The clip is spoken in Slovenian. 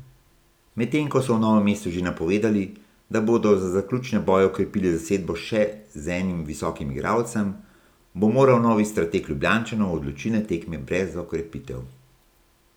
Medtem ko so v Novem mestu že napovedali, da bodo za zaključne boje okrepili zasedbo še z enim visokim igralcem, bo moral novi strateg Ljubljančanov v odločilne tekme brez okrepitev.